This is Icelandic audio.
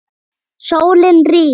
Sólin rís.